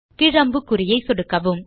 கீழ் அம்புக்குறியை சொடுக்கவும்